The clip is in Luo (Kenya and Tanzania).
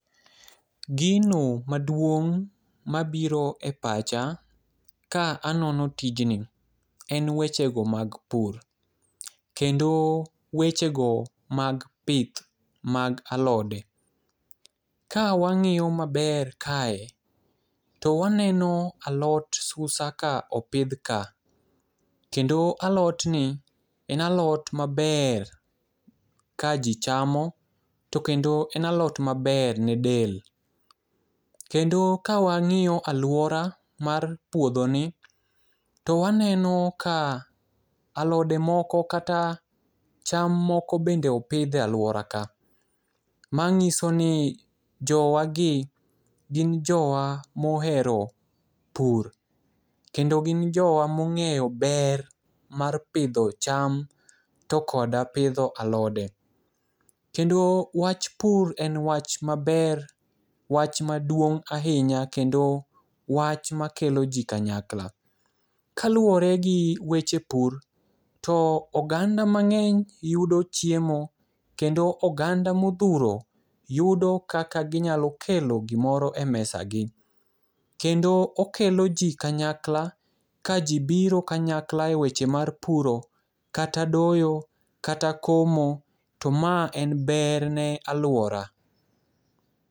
Gino maduong' ma biro e pacha ka anono tijni en wechego mag pur kendo wechego mag pith mag alode. Ka wang'iyo maber kae to waneno alot susa ka opidh ka kendo alotni en alot maber kaji chamo to kendo en alot maber ne del. Kendo ka wang'iyo aluora mar puodhoni to waneno ka alode moko kata cham moko bende opidh e aluora ka manyiso ni jowagi gin jowa mohero pur kendo gin jowa mong'eyo ber mar pidho cham to koda pidho alode. To kendo wach pur en wach maber wach maduong' ahinya kendo wach makeloji kanyakla. Kaluwore gi weche pur to oganda mang'eny yudo chiemo, kendo oganda modhuro yudo kaka ginyalo kelo gimoro emesagi kendo okelo ji kanyakla kaji biro kanyakla eweche mar puro kata doyo kata komo to mae en ber ne anyuola.